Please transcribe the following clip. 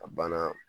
A banna